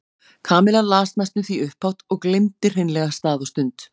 Kamilla las næstum því upphátt og gleymdi hreinlega stað og stund.